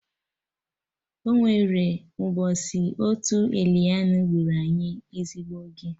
Ọnwere mbọsị otu élaịnụ gburu anyị ezigbo oge